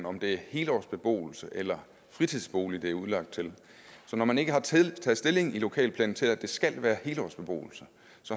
om det er helårsbeboelse eller fritidsbolig det er udlagt til så når man ikke har taget stilling i lokalplanen til at det skal være helårsbeboelse